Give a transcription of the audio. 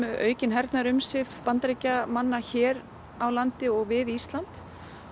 aukin hernaðarumsvif Bandaríkjamanna hér á landi og við Ísland